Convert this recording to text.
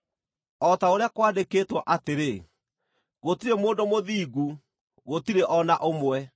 O ta ũrĩa kwandĩkĩtwo atĩrĩ: “Gũtirĩ mũndũ mũthingu, gũtirĩ o na ũmwe;